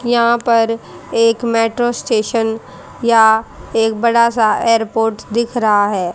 यहां पर एक मेट्रो स्टेशन या एक बड़ा सा एयरपोर्ट दिख रहा है।